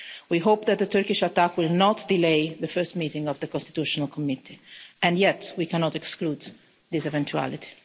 We hope that the Turkish attack will not delay the first meeting of the constitutional committee, and yet we cannot exclude this eventuality.